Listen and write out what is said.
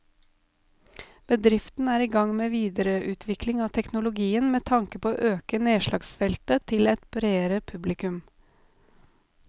Bedriften er i gang med videreutvikling av teknologien med tanke på å øke nedslagsfeltet til et bredere publikum.